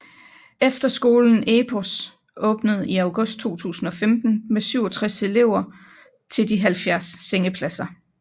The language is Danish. Efterskolen Epos åbnede i august 2015 med 67 elever til de 70 sengepladser